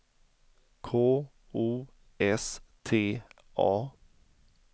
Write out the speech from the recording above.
K O S T A